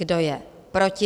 Kdo je proti?